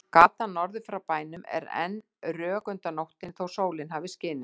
Gatan norður frá bænum er enn rök undan nóttunni þótt sólin hafi skinið.